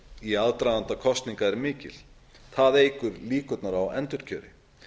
í aðdraganda kosninga er mikil það eykur líkurnar á endurkjöri